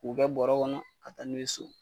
K'u kɛ bɔrɔ kɔnɔ ka taa n'u ye so.